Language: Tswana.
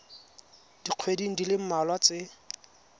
dikgweding di le mmalwa tse